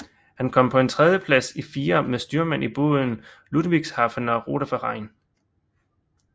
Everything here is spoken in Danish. Han kom på en tredjeplads i firer med styrmand i båden Ludwigshafener Ruderverein